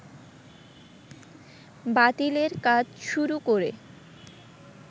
বাতিলের কাজ শুরু করে